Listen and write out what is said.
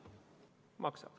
Maksab.